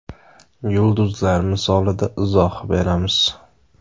Yulduzlar misolida izoh beramiz .